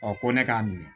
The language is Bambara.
Ɔ ko ne k'a minɛ